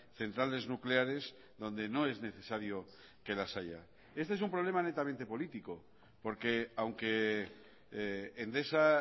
centrales nucleares donde no es necesario que las haya este es un problema netamente político porque aunque endesa